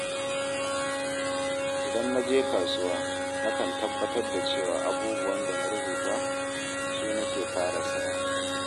Idan na je kasuwa, nakan tabbatar da cewa abubuwan da na rubuta su nake fara saya.